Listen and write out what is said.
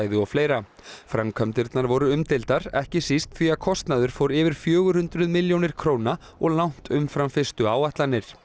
og fleira framkvæmdirnar voru umdeildar ekki síst því að kostnaður fór yfir fjögur hundruð milljónir króna og langt umfram fyrstu áætlanir